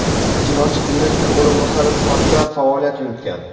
ijrochi direktor o‘rinbosari sifatida faoliyat yuritgan.